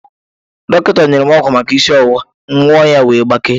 Dọkịta nyere m ọgwụ maka isi ọwụwa, m ṅụọ ya wee gbakee